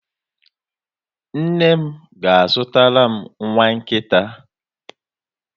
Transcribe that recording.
Nne m ga-azụtara m nwa nkịta.